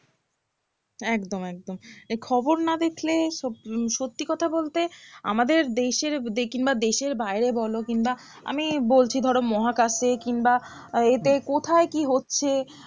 একদম একদম এই খবর না দেখলে সব উম সত্যি কথা বলতে আমাদের দেশের কিংবা দেশের বাইরে বলো কিংবা আমি বলছি ধরো মহাকাশে কিংবা আহ এতে কোথায় কি হচ্ছে